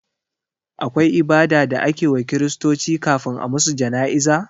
Akwai ibada da ake wa kiristoci kafin a musu jana'iza?